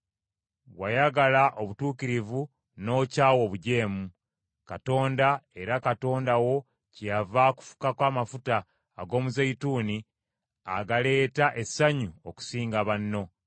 Wayagala obutuukirivu n’okyawa obujeemu. Katonda, era Katonda wo kyeyava akufukako amafuta ag’omuzeeyituuni agaleeta essanyu okusinga banno.”